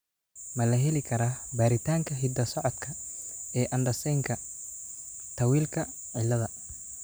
Ma la heli karaa baaritaanka hidda-socodka ee Andersenka Tawilka ciladha?